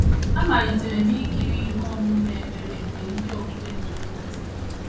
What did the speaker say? Amalitere m ikiri ihe omume ekpere nke ndị okpukpe na - eme na TV